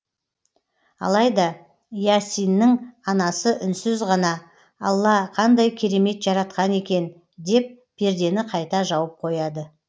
алайда иасиннің анасы үнсіз ғана алла қандай керемет жаратқан екен деп пердені қайта жауып қояды